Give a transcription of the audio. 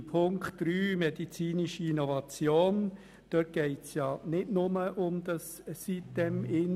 Bei Ziffer 3 zur medizinischen Innovation geht es nicht nur um sitem-insel.